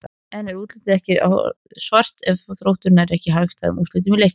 En er útlitið ekki orðið svart ef að Þróttur nær ekki hagstæðum úrslitum úr leiknum?